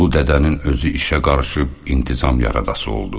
Ulu dədənin özü işə qarışıb intizam yaradası oldu.